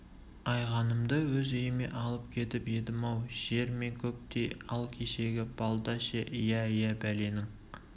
айғанымды өз үйіме алып кетіп едім-ау жер мен көктей ал кешегі балда ше иә иә бәленің